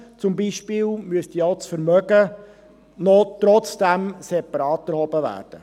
So müsste zum Beispiel das Vermögen trotzdem separat erhoben werden.